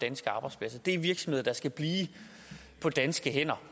danske arbejdspladser det er virksomheder der skal blive på danske hænder